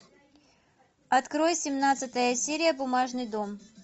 открой семнадцатая серия бумажный дом